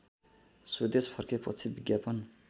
स्वदेश फर्केपछि विज्ञापन